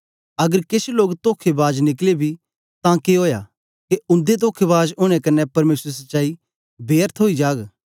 अगर केछ लोक तोखेबाज निकले बी तां के ओया के उन्दे तोखेबाज ओनें क्न्ने परमेसर दी सच्चाई बेर्थ ओई जाग